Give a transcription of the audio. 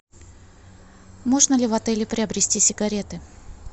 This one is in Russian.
можно ли в отеле приобрести сигареты